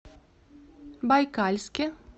байкальске